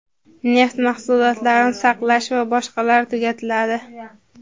neft mahsulotlarini saqlash va boshqalar) tugatiladi.